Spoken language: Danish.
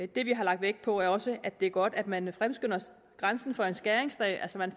det vi har lagt vægt på er også at det er godt at man fremskynder grænsen for en skæringsdag